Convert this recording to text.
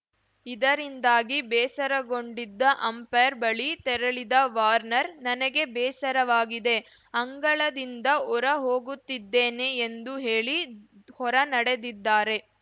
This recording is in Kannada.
ಇದರಿಂದಾಗಿ ಬೇಸರಗೊಂಡಿದ್ದ ಅಂಪೈರ್‌ ಬಳಿ ತೆರಳಿದ ವಾರ್ನರ್‌ ನನಗೆ ಬೇಸರವಾಗಿದೆ ಅಂಗಳದಿಂದ ಹೊರ ಹೋಗುತ್ತಿದ್ದೇನೆ ಎಂದು ಹೇಳಿ ಹೊರ ನಡೆದಿದ್ದಾರೆ